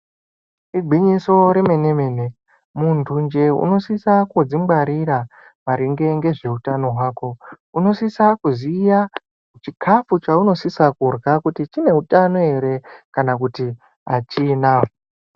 Igwinyiso remenemene munthunje unosisa kudzingwarira maringe ngezveutano hwako unosisa kuziya chichikafu chaunosisa kudya kuti chineutano here kana hachina.